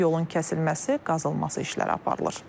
Yolun kəsilməsi, qazılması işləri aparılır.